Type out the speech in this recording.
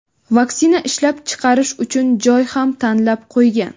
vaksina ishlab chiqarish uchun joy ham tanlab qo‘ygan.